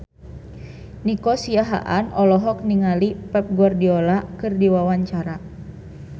Nico Siahaan olohok ningali Pep Guardiola keur diwawancara